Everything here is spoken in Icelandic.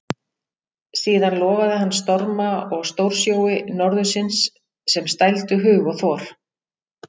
Síðan lofaði hann storma og stórsjói norðursins sem stældu hug og þor.